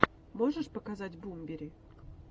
можешь показать бумбери